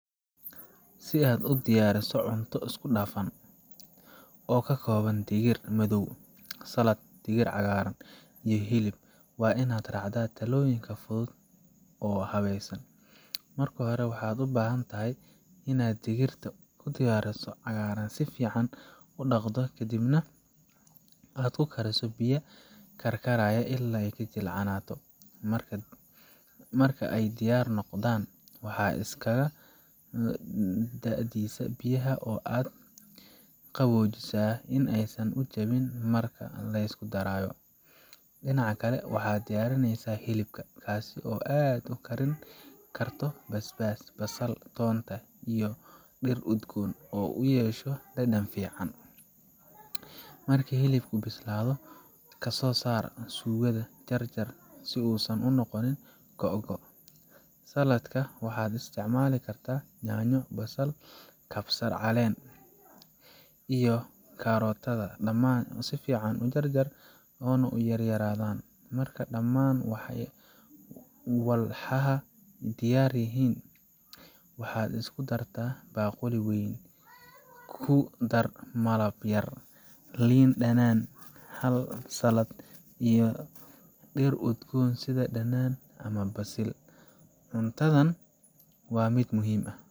Si aad u diyaariso cunto isku dhafan oo ka kooban digir madow, saladh, digir cagaaran, iyo hilib, waa inaad raacdaa tallaabooyin fudud oo habaysan. Marka hore, waxaad u baahan tahay inaad digirta iyo digirta cagaaran si fiican u dhaqdo kadibna aad ku kariso biyo karkaraya ilaa ay jilcaanato. Marka ay diyaar noqdaan, waxaad iskaga daadisaa biyaha oo aad u qaboojisaa si aysan u jabin marka la isku darayo. Dhinaca kale, waxaad diyaarsataa hilibka, kaas oo aad ku karin karto basbaas, basal, toonta, iyo dhir udgoon si uu u yeesho dhadhan fiican. Marka hilibku bislaado, ka soo saar suugada, oo jarjar si uusan u noqonin googo’ waaweyn. Saladhka, waxaad isticmaali kartaa yaanyo, basal, kabsar calen, iyo karootada dhammaan si fiican u jarjar oo ha u yaryaraadaan. Marka dhamaan walxaha diyaar yihiin, waxaad iskugu dartaa baaquli weyn. Ku dar malab yar, liin dhanaan khal saladh, iyo dhir udgoon sida dhanaan ama basil. Cuntadan waa mid ah.